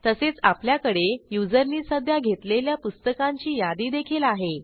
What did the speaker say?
तसेच आपल्याकडे युजरनी सध्या घेतलेल्या पुस्तकांची यादी देखील आहे